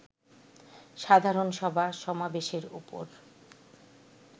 সাধারণ সভা-সমাবেশের উপর